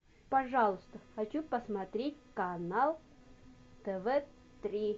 пожалуйста хочу посмотреть канал тв три